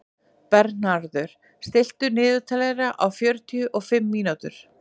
Bernharður, stilltu niðurteljara á fjörutíu og fimm mínútur.